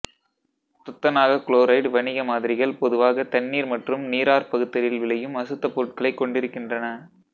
துத்தநாக chloride வணிக மாதிரிகள் பொதுவாக தண்ணீர் மற்றும் நீராற் பகுத்தலில் விளையும் அசுத்தப் பொருட்களைக் கொண்டிருக்கின்றன